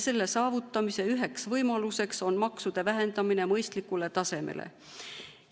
Selle saavutamise üheks võimaluseks on maksude vähendamine mõistlikule tasemele.